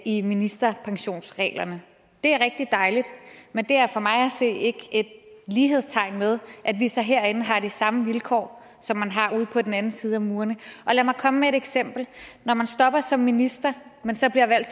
i ministerpensionsreglerne det er rigtig dejligt men det er for mig at se ikke et lighedstegn med at vi så herinde har de samme vilkår som man har ude på den anden side af murene og lad mig komme med et eksempel når man stopper som minister og man så bliver valgt